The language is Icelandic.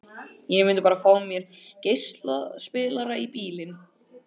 ég myndi bara fá mér geislaspilara í bílinn